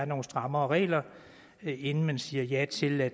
nogle strammere regler inden man siger ja til at